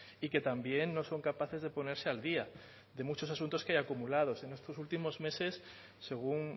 y que también no son capaces de ponerse al día de muchos asuntos que hay acumulados en estos últimos meses según